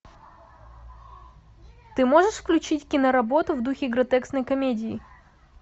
ты можешь включить киноработу в духе гротескной комедии